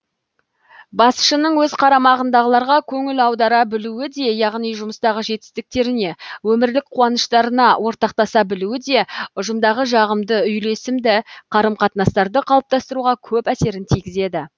басшының өз қарамағындағыларға көңіл аудара білуі де яғни жұмыстағы жетістіктеріне өмірлік қуаныштарына ортақтаса білуі де ұжымдағы жағымды үйлесімді қарым қатынастарды қалыптастыруға көп әсерін тигізеді